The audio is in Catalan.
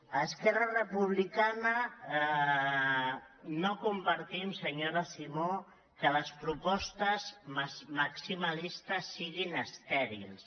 a esquerra republicana no compartim senyora simó que les propostes maximalistes siguin estèrils